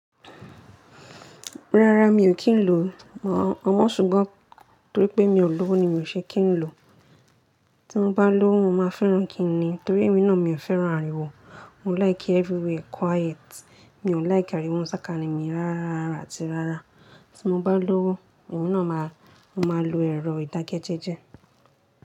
Rárá mi ò kí ń lò ọmọ ṣùgbọ́n torí pé mi ò lọ́wọ́ ni mi ò ṣe kí ń lò. Tí mo bá lọ́wọ́ mo máa fẹ́ràn kín ni torí emi náà mi ò fẹ́ràn ariwo. Mo like ki everywhere quiet. Mi ò like ariwo nu sákání mi rárá rárá àti rárá. Tí mo bá lọ́wọ́, ewé náà máa, mo máa lo ẹ̀rọ ìdákẹ́jẹ́jẹ́